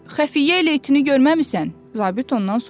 Xəfiyyə ilə itin görməmisən, zabit ondan soruşdu.